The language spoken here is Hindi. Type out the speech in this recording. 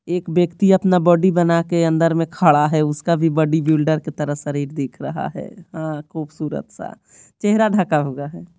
एक व्यक्ति अपना बॉडी बना के अंदर में खड़ा है उसका भी बॉडी बिल्डर की तरह शरीर दिख रहा है हां खूबसूरत सा चेहरा ढका हुआ है।